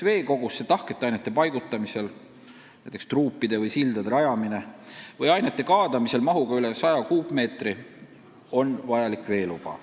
Veekogusse tahkete ainete paigutamisel – näiteks truupide ja sildade rajamisel – või ainete kaadamisel mahuga üle 100 kuupmeetri on vajalik veeluba.